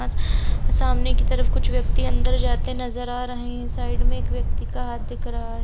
सामने की तरफ कुछ व्यक्ति अन्दर जाते नजर आ रहे हैंसाइड में एक व्यक्ति का हाथ दिख रहा है।